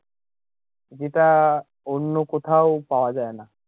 যেটা অন্য কোথাও পাওয়া যায়না